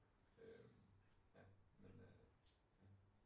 Øh ja men øh ja